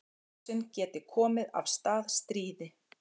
Árásin geti komið af stað stríði